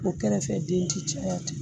O kɛrɛfɛ den ti caya ten